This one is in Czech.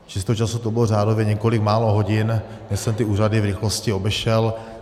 Čistého času to bylo řádově několik málo hodin, než jsem ty úřady v rychlosti obešel.